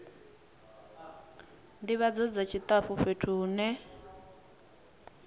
ndivhadzo dza tshitafu fhethu hune